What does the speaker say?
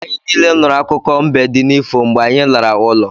Anyị niile nụrụ akụkọ mbe di n'ifo mgbe anyị lara ụlọ